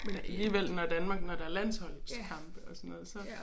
Men alligevel når Danmark når der er landsholdskampe og sådan noget så